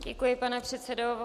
Děkuji, pane předsedo.